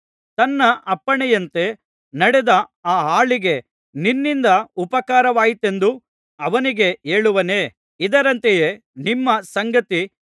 ತನ್ನ ಅಪ್ಪಣೆಯಂತೆ ನಡೆದ ಆ ಆಳಿಗೆ ನಿನ್ನಿಂದ ಉಪಕಾರವಾಯಿತೆಂದು ಅವನಿಗೆ ಹೇಳುವನೇ ಇದರಂತೆಯೇ ನಿಮ್ಮ ಸಂಗತಿ